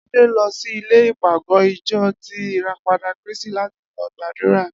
Adé lo̩ si ilè̩ ìpàgó̩ ìjo̩ ti ìràpadà Krístì láti lo̩ gbàdúrà